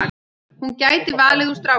Hún gæti valið úr strákum.